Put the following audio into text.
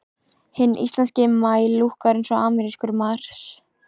Hinn íslenski maí lúkkar eins og amerískur mars.